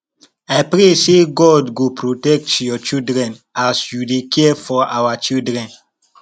i pray sey god go protect your children as you dey care for our children